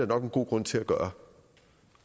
nok en god grund til at gøre